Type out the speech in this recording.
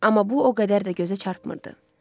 Amma bu o qədər də gözə çarpmırdı.